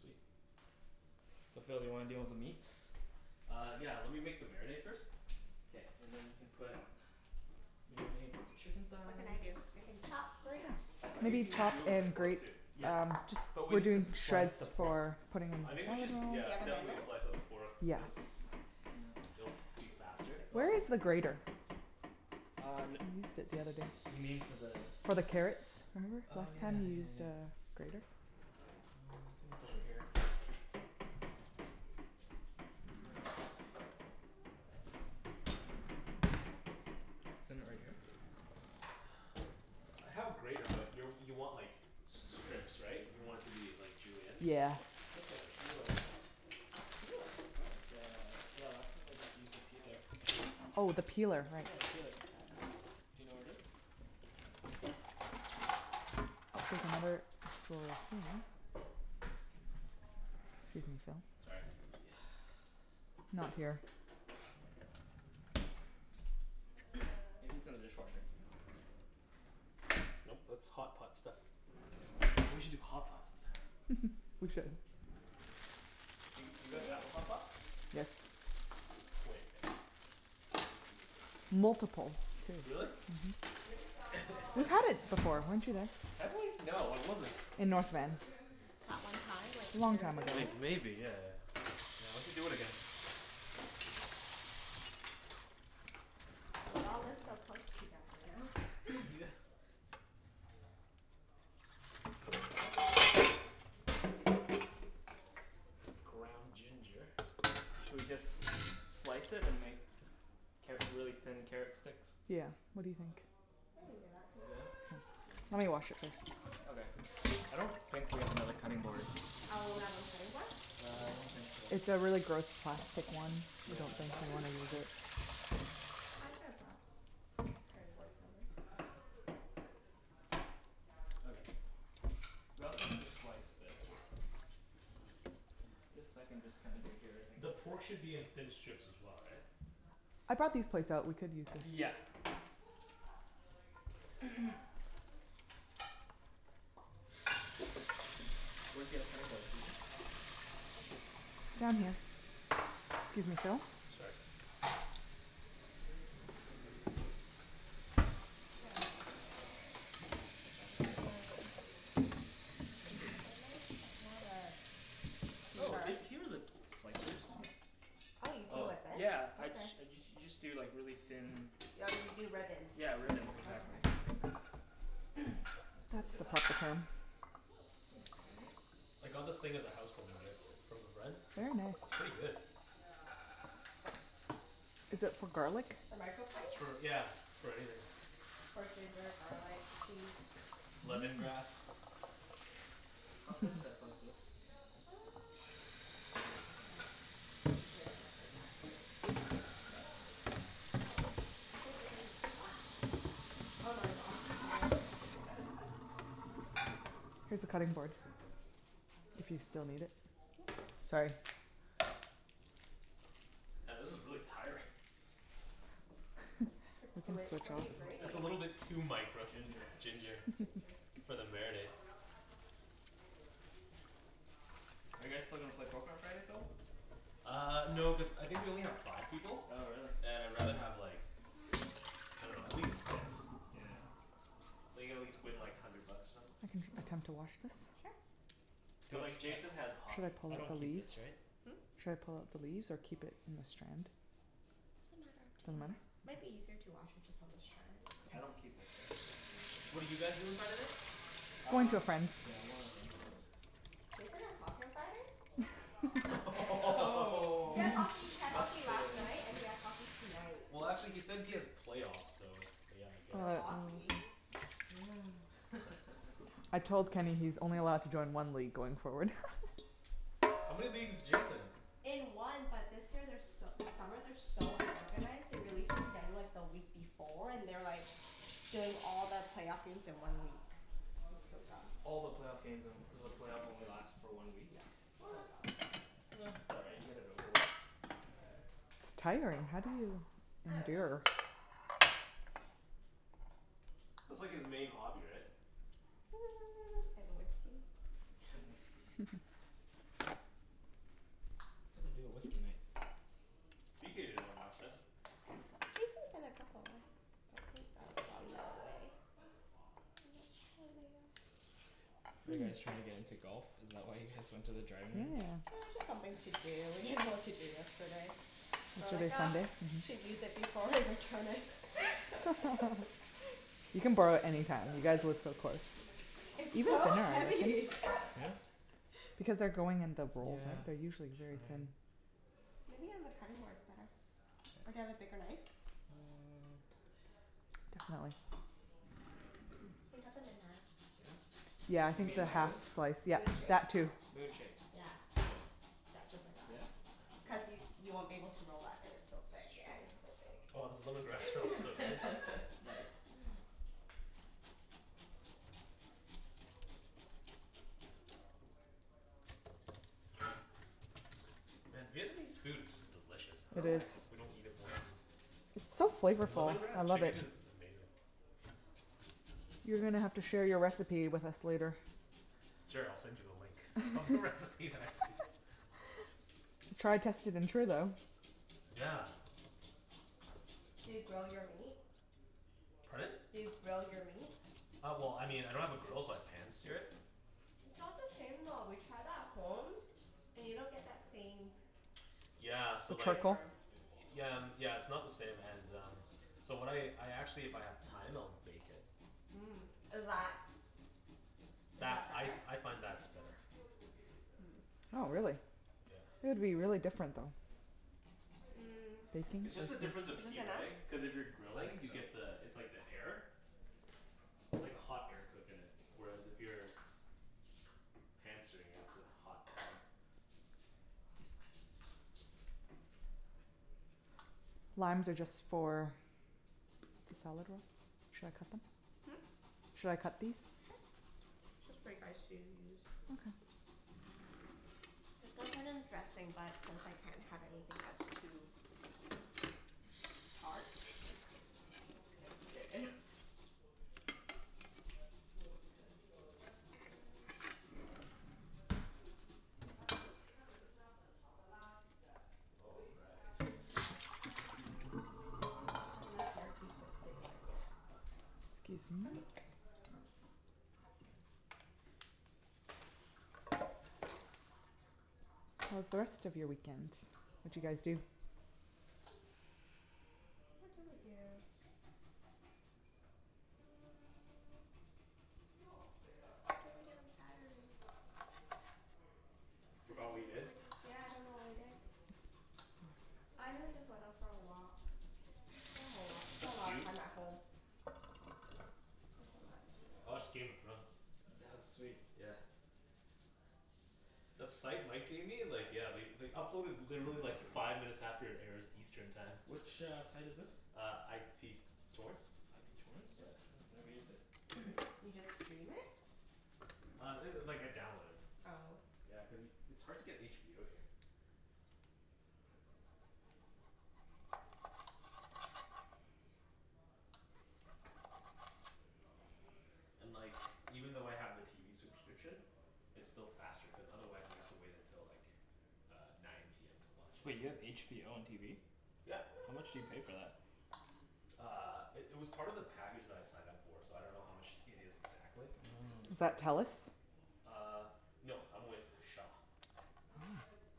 Sweet. So Phil do you wanna to deal with the meats? Uh, yeah. Lemme make the marinade first. K. And then we can put marinade with the chicken What can I thighs. do, I can chop, grate. I think we Maybe need chop do like a and pork grate too. Yeah. um just But we are maybe we can doing slice shreds the pork for putting in I the think we salad should bowl. yeah, definitely slice the pork Yes. cuz Hm That's faster. Where is the grater? Um, you mean for the For the carrots? Oh yeah yeah yeah yeah yeah. Um I think it's over here Isn't it right here? I have a grater but you you want like strips right? You want it to be like julienne? Just, Yeah. just like a peeler. A peeler? Cool. Uh, yeah. Often I just used a peeler. Oh the peeler, right. Do you know where it is? Excuse me Phil. Let's Sorry. see. Not here. Maybe it's in the dishwater. No, that's hotpots stuff. We should do hotpot some time. We should. We did. a hotpot? Yes. Multiple. Really? Mhm. We had it before, weren't you there? Have we? No, I wasn't. In North Van. That one time, like Long years time ago. ago? Maybe, yeah. Yeah we should do it again. We all live so close together now. Yeah. What does it look like? What is this? Ground ginger. Should we just slice it and make carrot really thin carrot sticks? Yeah, what do you think? We can do that, too. Yeah? Lemme Okay. wash it first. Oh there. I don't think we have another cutting board. one cutting board? Yeah I don't think so. It's a really gross plastic one. Okay. Yeah. We don't think you Plastic wanna is use fine. it. I could've brought cutting boards over. Okay. We also need to slice this. Yeah. This I can just kinda do it here I think. The pork should be in thin strips as well, right? I bought these plates so we could use this. Yeah. Where's the other cutting board, Susie? Excuse me Phil Sorry. uh, it's more of like Oh! There Here's the slicers, hm. Oh you peel Oh. with this? Yeah I just you just do like really thin. Yeah you do ribbons. Yeah, ribbons exactly. That's what I That's did the last proper time. term. Oh, it's fine, right? I got this thing as a house warming gift from a friend. Very nice It's pretty good. Is that for garlic? The It's microplate? for yeah, for everything. For ginger, garlic, cheese. Lemongrass. How thin should I slice this? Uh, like we should like that, Okay. right? Like that? Oh. Here's the cutting board, if you still need it. Sorry. Yeah this is really tiring. We could switch what are you It's over. a grating? little bit too micro Ginger. ginger. Ginger For the marinade. Are you guys still gonna play Poker on Friday, Phil? Uh, no cuz I think we only have five people. Oh really. And I rather have like, I dunno, at least six. Yeah. So play like hundred bucks or something. We can to wash this? Sure. Cuz like Jason has Should I hockey. pull I out the don't keep leaves? this right? Hm? Should I pull out the leaves or keep it in a strand? Doesn't matter. Up to Doesn't matter? you. Might be easier to wash it just on the strand. I don't keep this right? What did you guys do on Saturday? Went to Uh, a friends. yeah we were at friends house. Jason has hockey on Friday? Oh! He has hockey, he had hockey Busted. last night and he Oh! has hockey tonight. Well actually he said he has playoffs so, yeah I guess Still Alright. so. Um. hockey. Mm. I told Kenny he's only allowed to join one league going forward. How many leagues is Jason in? In one but this year they're so this summer they are so unorganized, they released the schedule like the week before, and they're like doing all the playoff games in one week. It's so dumb All the playoff games in one so the playoff only last for one week? Yeah, so dumb. Um it's alright, you get it over with. It's tiring, how do you I dunno. endure. That's like his main hobby right? Hmm and whiskey. And whiskey. We do a whiskey night. Jason's. Are you guys trying to get into golf? Is that why you guys went to the driving range? Yeah, Yeah. it's just something to do, we didn't know what to do yesterday. Well I Yesterday was thought Sunday? we should use it before we return it. You can borrow it anytime. You guys live so close. It's so Like heavy! this? Because they're growing in the bowls, Yeah. they're usually That's very thin. right. Maybe on the cutting board it's better. Or do you have a bigger knife? Mmm You can cut them in half. Yeah? Yeah You mean the like half this? slice yeah, Moon shape. that too. Moon shape. Yeah. Yeah just like Yeah? that. Okay. I'll do Cuz you that. you won't be able to roll that if it's so That's thick yeah it's so true. thick. Wow I was a little. Nice. And Vietnamese food is just delicious. I It dunno is. why we don't eat it more often. It's so flavorful, I Lemongrass love it. chicken is amazing. You're gonna have to share your recipe with us later. Sure, I'll send you the link. Try test it. Yeah. Do you grill your meat? Pardon? Do you grill your meat? Uh well I mean I don't have a grill but pan-sear it. It's not the same though, we tried that at home, and you don't get that same Yeah The so like charcoal? flavor Yeah, yeah it's not the same and um, so when I I actually if I have time I'll bake it. Mhm, is that is That, that I better? I find that's better. Hmm. Oh really? Yeah. Would be really different though. Mm. It's just the Is difference of this heat enough? right? Cuz if you're I grilling think you so. get the it's like the air. It's like hot air cookin it. Where as if you're pan-searing it, it's a hot pan. Limes are just for the salad bowl? Should I cut them? Hm? Should I cut these? Sure. Mhm. Cuz that kinda dressing but since I can't have anything that's too. put it in. All right. The left earpiece won't stay in my ear. Excuse me. Okay. How's the rest of your weekend? What d'you guys do? What did we do? Hmm. What did we do on Saturday? Forgot what you did? Yeah I don't remember what I did. I really just went out for a walk, spent a lot spent a lot of time at home. time I watched Game of at Thrones. home. That was sweet. Yeah. That site Mike gave me like yeah they they upload in literally like five minutes after it airs Eastern time. Which, uh, site is this? Uh, IP torrents. IP torrents? No, Yeah. no, never used it. You just stream it? Uh, it like I download it. Oh. Yeah, cuz it's hard to get HBO here. And like even though I have the TV subscription, it's still faster cuz otherwise you have to wait until like uh nine PM to watch Wait it. you have HBO on TV? Yeah. How much do you pay for that? Uh, it it was part of the package that I signed up for so I dunno how much it is exactly. It's Is Mmm. part of that the plan. Telus? Uh, no I'm with Shaw.